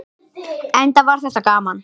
Enda var þetta gaman.